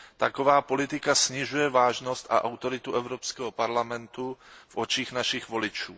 Taková politika snižuje vážnost a autoritu Evropského parlamentu v očích našich voličů.